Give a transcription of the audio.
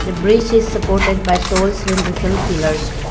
a bridge is supported by tall cylindrical pillars.